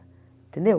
Entendeu?